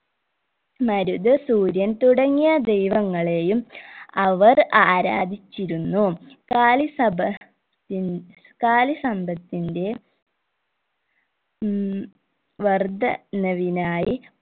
മരുത് സൂര്യൻ തുടങ്ങിയ ദൈവങ്ങളെയും അവർ ആരാധിച്ചിരുന്നു കാലി സഭ തി കാലി സമ്പത്തിന്റെ ഉം വർദ്ധനവിനായി